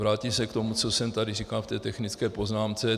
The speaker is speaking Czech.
Vrátím se k tomu, co jsem tady říkal v té technické poznámce.